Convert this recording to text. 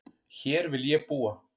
Hér vil ég búa